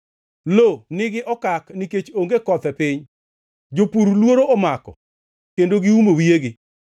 Lo nigi okak nikech onge koth e piny; jopur luoro omako kendo giumo wiyegi.